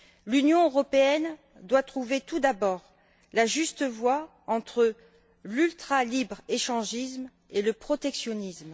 L'Union européenne doit trouver tout d'abord la juste voie entre l'ultra libre échangisme et le protectionnisme.